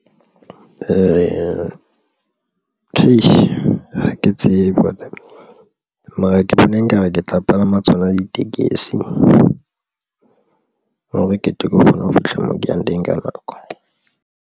Ee, ke ha ke tsebe ho tlaba mara ke bona nkare ke tla palama tsona ditekesi hore ketle ke kgone ho fihla moo ke yang teng ka nako.